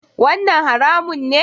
Wannan haramun ne?